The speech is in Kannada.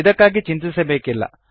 ಇದಕ್ಕಾಗಿ ಚಿಂತಿಸಬೇಕಿಲ್ಲ